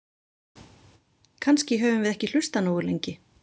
Kannski höfum við ekki hlustað nógu lengi.